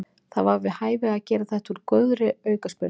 Það var við hæfi að gera þetta úr góðri aukaspyrnu.